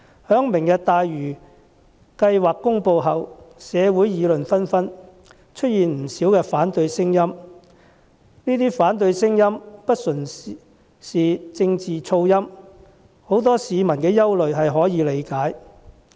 在"明日大嶼"計劃公布後，社會議論紛紛，出現不少反對聲音，這些反對聲音不純是政治噪音，很多市民有可以理解的憂慮。